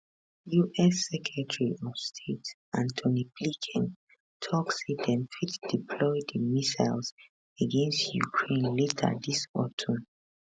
us secretary of state anthony blinken tok say dem fit deploy di missiles against ukraine later dis autumn